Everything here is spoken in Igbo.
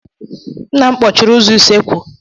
Nna m kpọchiri ụzọ usekwu.